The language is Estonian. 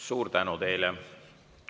Suur tänu teile!